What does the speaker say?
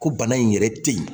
Ko bana in yɛrɛ te yen